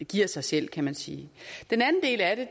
giver sig selv kan man sige den anden del af det